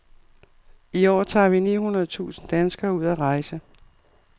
I år tager ni hundrede tusind danskere ud at rejse.